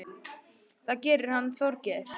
Það gerir hann Þorgeir.